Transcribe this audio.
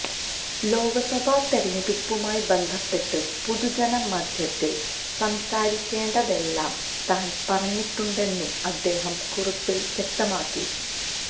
ലോക്സഭാ തെരഞ്ഞെടുപ്പുമായി ബന്ധപ്പെട്ട് പൊതുജന മധ്യത്തില് സംസാരിക്കേണ്ടതെല്ലാം താന് പറഞ്ഞിട്ടുണ്ടെന്നും അദ്ദേഹം കുറിപ്പില് വ്യക്തമാക്കി